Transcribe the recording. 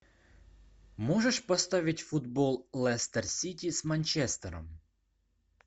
можешь поставить футбол лестер сити с манчестером